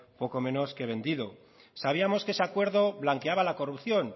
poco menos que vendido sabíamos que ese acuerdo blanqueaba la corrupción